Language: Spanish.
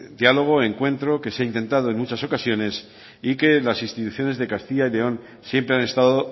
diálogo encuentro que se ha intentado en muchas ocasiones y que las instituciones de castilla y león siempre han estado